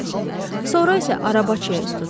Sonra isə arabaçıya üz tutdu.